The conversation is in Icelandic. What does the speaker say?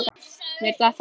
Mér datt það í hug!